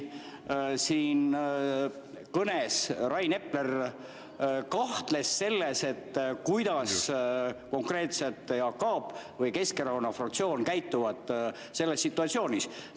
Tõesti, oma kõnes Rain Epler kahtles selles, kuidas konkreetselt Jaak Aab või Keskerakonna fraktsioon selles situatsioonis käituvad.